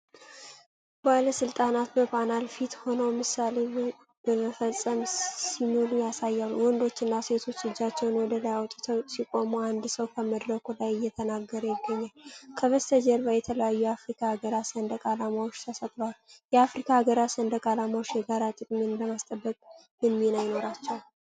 ባለስልጣናት በፓናል ፊት ሆነው ምሳሌ በመፈጸም ሲምሉ ያሳያል። ወንዶችና ሴቶች እጃቸውን ወደላይ አውጥተው ሲቆሙ፣ አንድ ሰው ከመድረክ ላይ እየተናገረ ይገኛል። ከበስተጀርባ የተለያዩ የአፍሪካ አገራት ሰንደቅ ዓላማዎች ተሰቅለዋል። የአፍሪካ አገራት ሰንደቅ ዓላማዎች የጋራ ጥቅምን ለማስጠበቅ ምን ሚና ይኖራቸዋል?